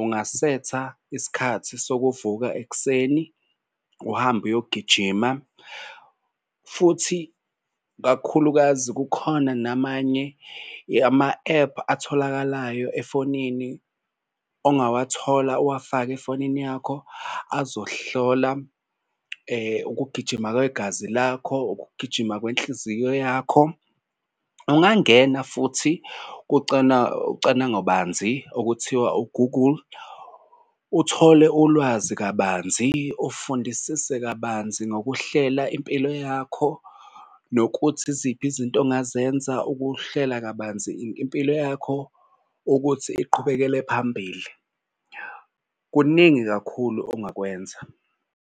ungasetha isikhathi sokuvuka ekuseni uhambe uyogijima futhi kakhulukazi kukhona namanye ama-ephu atholakalayo efonini ongawathola uwafake efonini yakho, azohlola ukugijima kwegazi lakho. Ukugijima kwenhliziyo yakho ungangena futhi cwaningobanzi okuthiwa u-Google uthole ulwazi kabanzi, ufundisise kabanzi ngokuhlela impilo yakho nokuthi iziphi izinto ongazenza ukuhlela kabanzi impilo yakho ukuthi iqhubekele phambili. Kuningi kakhulu ongakwenza.